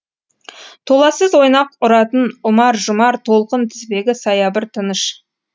толассыз ойнақ ұратын ұмар жұмар толқын тізбегі саябыр тыныш